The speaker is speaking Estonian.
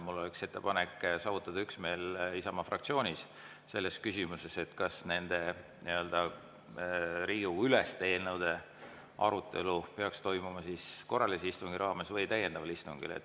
Mul oleks ettepanek, et saavutataks üksmeel Isamaa fraktsioonis selles küsimuses, kas nende Riigikogu‑üleste eelnõude arutelu peaks toimuma korralise istungi raames või täiendaval istungil.